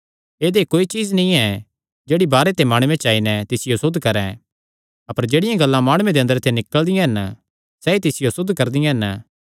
ऐदई कोई चीज्ज नीं ऐ जेह्ड़ी बाहरे ते माणुये च आई नैं तिसियो असुद्ध करैं अपर जेह्ड़ियां गल्लां माणुये दे अंदरे ते निकल़दियां हन सैई तिसियो असुद्ध करदियां हन